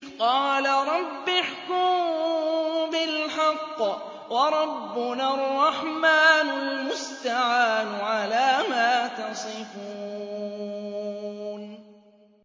قَالَ رَبِّ احْكُم بِالْحَقِّ ۗ وَرَبُّنَا الرَّحْمَٰنُ الْمُسْتَعَانُ عَلَىٰ مَا تَصِفُونَ